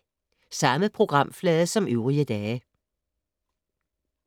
Samme programflade som øvrige dage